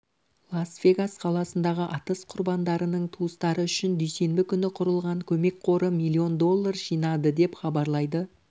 лас-вегас қаласындағы атыс құрбандарының туыстары үшін дүйсенбі күні құрылған көмек қоры миллион доллар жинады деп хабарлайды